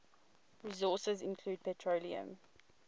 resources include petroleum